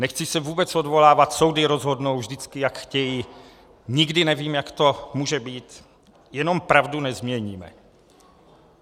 Nechci se vůbec odvolávat, soudy rozhodnou vždycky, jak chtějí, nikdy nevím, jak to může být, jenom pravdu nezměníme.